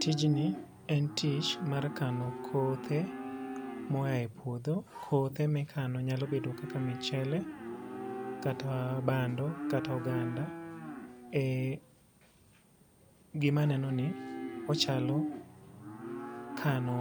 Tijni en tich mar kano kothe mo a e puodho. Kothe mikano nyalo bedo kaka michele kata bando kata oganda. Gima neno ni ochalo kano